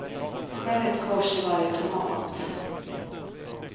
Skär ett kors i varje tomat.